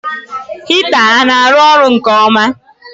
Hita ọ na arụ ọrụ nke ọma?